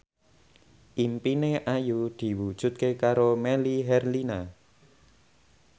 impine Ayu diwujudke karo Melly Herlina